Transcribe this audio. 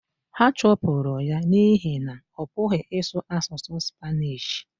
ha chụpụrụ ya n’ihi na ọ pụghị ịsụ asụsụ Spanishi